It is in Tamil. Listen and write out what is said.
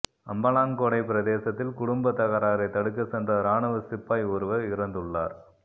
அம்பலாங்கொடை பிரதேசத்தில் குடும்ப தகராறை தடுக்க சென்ற ராணுவ சிப்பாய் ஒருவர் இறந்துள்ளார்